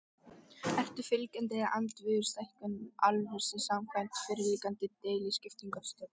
Ertu fylgjandi eða andvígur stækkun álversins samkvæmt fyrirliggjandi deiliskipulagstillögu?